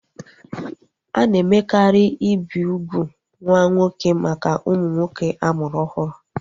A na-emekarị ibi ugwu nwa nwoke maka ụmụ nwoke a mụrụ ọhụrụ